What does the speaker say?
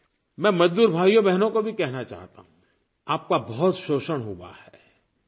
I मैं मज़दूर भाइयोंबहनों को भी कहना चाहता हूँ आप का बहुत शोषण हुआ है